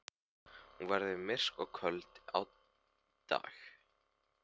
Hún verður myrk og köld í dag.